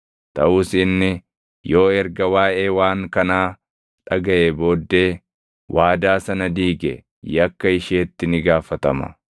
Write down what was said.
Taʼus inni yoo erga waaʼee waan kanaa dhagaʼee booddee waadaa sana diige yakka isheetti ni gaafatama.”